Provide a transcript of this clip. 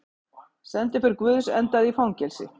Sendiför guðs endaði í fangelsi